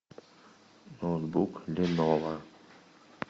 ноутбук леново